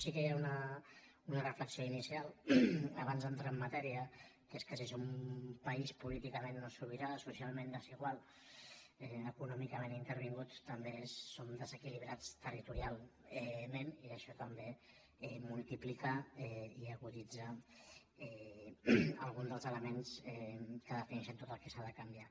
sí que hi ha una reflexió inicial abans d’entrar en ma·tèria que és que si som un país políticament no sobi·rà socialment desigual econòmicament intervingut també som desequilibrats territorialment i això tam·bé multiplica i aguditza algun dels elements que defi·neixen tot el que s’ha de canviar